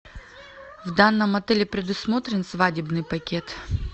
в данном отеле предусмотрен свадебный пакет